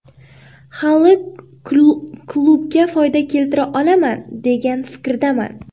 Hali klubga foyda keltira olaman, degan fikrdaman.